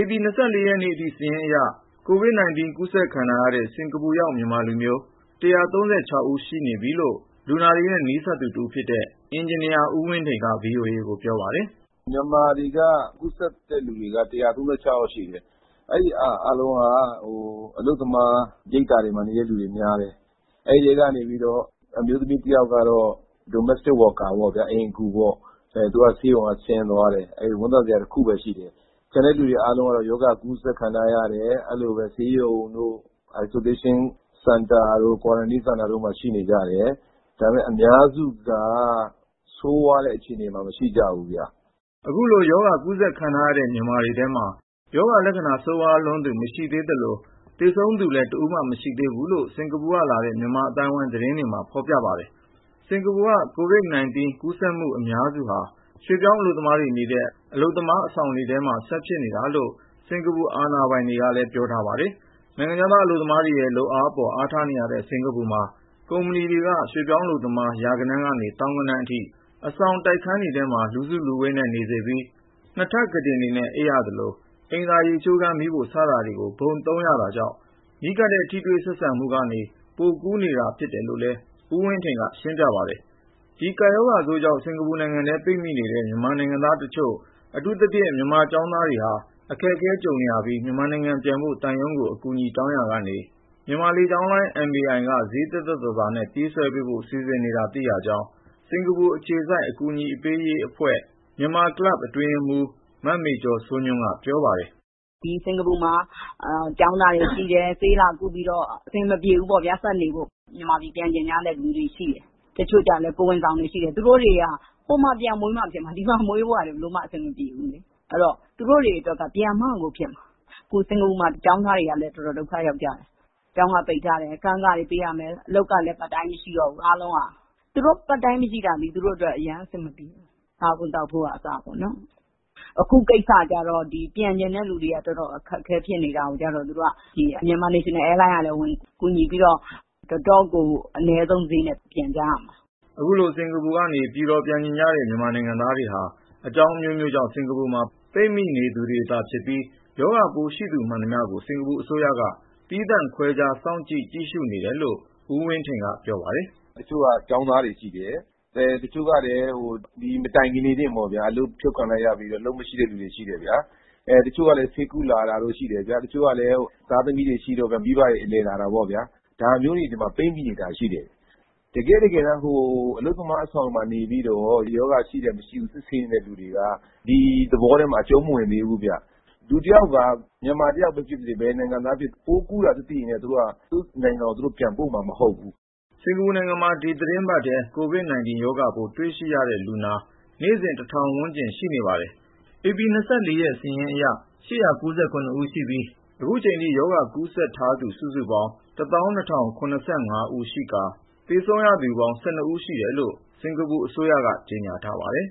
ဧပြီ(၂၄)ရက်နေ့အထိ စာရင်းအရ COVID-19 ကူးစက်ခံထားရတဲ့ စင်္ကာပူရောက် မြန်မာလူမျိုး (၁၃၆) ယောက်ရှိနေပြီလို့ လူနာတွေနဲ့ နီးစပ်သူတဦးဖြစ်တဲ့ အင်ဂျင်နီယာ ဦးဝင်းထိန်က VOA ကို ပြောပါတယ်။ “မြန်မာထဲက ကူးစက်တဲ့လူ ၁၃၆ ယောက် ရှိနေပြီ၊ အဲဒီလူတွေ အားလုံးက အလုပ်သမား ရိပ်သာမှာနေတာ များတယ်။ အဲဒီထဲကတော့ အမျိုးသမီးတယောက်ကတော့ Domestic worker အိမ်အကူ ပေါ့ဗျာ ။ သူကတော့ ဆေးရုံက ဆင်းသွားပြီ အဲဒါ ဝမ်းသာစရာတခုပဲ ရှိတယ်။ကျန်တဲ့သူတွေ ကတော့ ရောဂါကူးစက်ခံထားရတယ် အဲလိုပဲ ဆေးရုံတို့ Isolation center တို့ quarantine center တို့ မှာ ရှိနေကြတယ်။ ဒါပေမယ့် အများစုကတော့ ဆိုးဝါးတဲ့ အခြေအနေမှာ မရှိကြဘူးဗျ။” အခုလို ရောဂါကူးစက်ခံထားရတဲ့ မြန်မာတွေထဲမှာ ရောဂါလက္ခဏာ ဆိုးဝါးလွန်းသူ မရှိသေးသလို၊ သေဆုံးသူလည်း တဦးမှ မရှိသေးဘူးလို့ စင်္ကာပူကလာတဲ့ မြန်မာအသိုင်းအဝိုင်း သတင်းတွေမှာ ဖေါ်ပြပါတယ်။ စင်္ကာပူက COVID -19 ကူးစက်မှု အများစုဟာ ရွှေ့ပြောင်းအလုပ်သမားတွေ နေတဲ့ အလုပ်သမား အဆောင်တွေထဲမှာပဲ ဆက်ဖြစ်နေတာလို့ စင်္ကာပူ အာဏာပိုင်တွေကလည်း ပြောထားပါတယ်။ နိုင်ငံခြားသား အလုပ်သမားတွေရဲ့လုပ်အားအပေါ် အားထားနေရတဲ့ စင်္ကာပူမှာ ကုမ္ပဏီတွေက ရွှေ့ပြောင်းအလုပ်သမား ရာဂဏန်းကနေ သောင်းဂဏန်းအထိ အဆောင်တိုက်ခန်းတွေထဲမှာ လူစုလူဝေးနဲ့ နေ စေပြီး နှစ်ထပ်ကုတင်တွေနဲ့ အိပ်ရသလို၊ အိမ်သာ ရေချိုးခန်း မီးဖို စတာကို ဘုံသုံးရတာကြောင့် နီးကပ်တဲ့ ထိတွေ့ဆက်ဆံမှုတွေက နေ ပိုကူးနေတာဖြစ်တယ်လို့လည်း ဦးဝင်းထိန်က ရှင်းပြပါတယ်။ ဒီကပ်ရောဂါဆိုးကြောင့် စင်္ကာပူနိုင်ငံထဲ ပိတ်မိနေတဲ့ မြန်မာနိုင်ငံသားတချို့ အထူးသဖြင့် မြန်မာကျောင်းသားတွေဟာ အခက်အခဲကြုံနေရပြီး မြန်မာနိုင်ငံပြန်ဖို့ သံရုံးကို အကူအညီ တောင်းရာကနေ မြန်မာလေကြောင်းလိုင်း MAI က ဈေးသက်သက်သာသာ နဲ့ ပြေးဆွဲပေးဖို့ စီစဉ်နေတာ သိရကြောင်း စင်္ကာပူအခြေစိုက် အကူညီပေးရေးအဖွဲ့ Myanmar Club အတွင်းရေးမှူး မမေကျော်စိုးညွန့်က ပြောပါတယ်။ “ဒီ စင်္ကာပူ မှာ ကျောင်းသားတွေ ရှိတယ် ဆေးလာကုပြီးတော့ အဆင်မပြေဘူးပေါ့ ဒီမှာ ဆက်နေဖို့၊ မြန်မာပြည်ပြန်ချင်တဲ့ လူတွေရှိတယ်။ တချို့လည်း ကိုယ်ဝန်သည်တွေ ရှိတယ်။ သူတို့တွေက ဟိုမှာ ပြန်မွေးမှ ဖြစ်မှာ ဒီမှာ မွေးဖို့က ဘယ်လိုမှ အဆင်မပြေဘူး အဲဒီတော့ သူတို့တွေအတွက်က ပြန်မှ ကိုဖြစ်မှာ ။အခု စင်္ကာပူ မှာ ကျောင်းသားတွေကလည်း တော်တော်ဒုက္ခရောက်ကျတယ်။ ကျောင်းက ပိတ်ထားတယ်၊ အခန်းခတွေ ပေးရမယ် အလုပ်ကလည်း part time မရှိတော့ဘူး။ သူတို့ part time မရှိတာက သူတို့အတွက် အရမ်းအဆင်မပြေဘူး။ စားဖို့သောက်ဖို့အစ ပေါ့နော် ။ အခုကိစ္စကျတော့ ပြန်ချင်တဲ့သူတွေ တော်တော်အခက်အခဲဖြစ်နေတာကို Myanmar National airline ကလည်း ကူညီပြီးတော့ တော်တော့်ကို အနည်းဆုံးဈေးနဲ့ ပြန်ကြရမှာ။” အခုလို စင်္ကာပူကနေ ပြည်တော် ပြန်ချင်တယ်ဆိုတဲ့ မြန်မာနိုင်ငံသားတွေဟာ အကြောင်း အမျိုးမျိုးကြောင့် စင်္ကာပူမှာ ပိတ်မိ နေသူတွေသာ ဖြစ်ပြီး၊ ရောဂါပိုးရှိသူ မှန်သမျှကို စင်္ကာပူအစိုးရက သီးသန့်ခွဲခြား စောင့်ကြပ် ကြည့်ရှုနေတယ်လို့ ဦးဝင်းထိန်က ပြောပါတယ်။ “ တချို့က ကျောင်းသားတွေရှိတယ်။ တချို့ကလည်း ဒီမတိုင်ခင်လေးတင်ပေါ့ဗျာ အလုပ်ဖြုတ်ခံလိုက်ရပြီးတော့ အလုပ်မရှိတဲ့သူတွေ ရှိတယ်။ တချို့ကလည်း ဆေးကုလာတာတို့ ရှိတယ်။ တချို့ကလည်း သားသမီးတွေ ရှိတော့ မိဘတွေ အလည်လာတာပေါ့ဗျာ။ ဒါမျိုးတွေ ဒီမှာ ပိတ်မိနေတာရှိတယ်။ တကယ့်တကယ် အလုပ်သမား အဆောင်မှာ နေပြီးတော့ ရောဂါရှိတယ်၊ မရှိဘူး စစ်ဆေးနေသူတွေက ဒီ သဘောထဲမှာ အကျုံးမဝင်သေးဘူးဗျ။ လူတယောက်က မြန်မာတယောက်ပဲ ဖြစ်ပါစေ၊ ဘယ်နိုင်ငံကပဲ ဖြစ်ဖြစ် ပိုးကူူးတာသိရင် သူတို့နိုင်ငံကို ပြန်ပို့မှာမဟုတ်ဘူး။” စင်္ကာပူနိုင်ငံမှာ ဒီသီတင်းပတ်ထဲ COVID-19 ရောဂါပိုး တွေ့ရှိရတဲ့လူနာ နေ့စဉ် (၁၀၀၀) ဝန်းကျင်ရှိပါတယ်။ ဧပြီ (၂၄) ရက်စာရင်းအရ (၈၉၇)ဦးရှိပြီး အခုချိန်ထိ ရောဂါကူးစက်ထားသူ စုစုပေါင်း (၁၂၀၇၅) ယောက်ရှိကာ သေဆုံးရသူပေါင်း (၁၂)ဦး ရှိတယ်လို့ စင်္ကာပူအစိုးရ က ကြေညာထားပါတယ်။